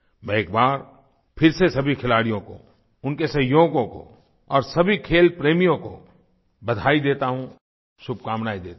मैं एक बार फिर से सभी खिलाड़ियों को उनके सहयोगियों को और सभी खेल प्रेमियों को बधाई देता हूँ शुभकामनाएँ देता हूँ